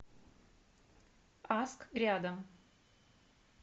аск рядом